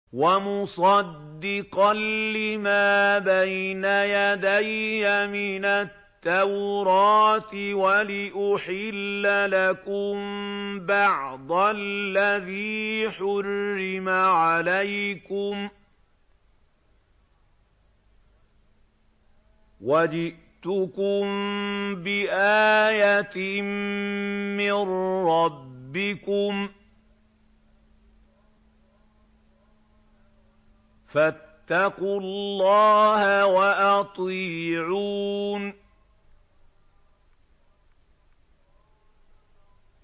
وَمُصَدِّقًا لِّمَا بَيْنَ يَدَيَّ مِنَ التَّوْرَاةِ وَلِأُحِلَّ لَكُم بَعْضَ الَّذِي حُرِّمَ عَلَيْكُمْ ۚ وَجِئْتُكُم بِآيَةٍ مِّن رَّبِّكُمْ فَاتَّقُوا اللَّهَ وَأَطِيعُونِ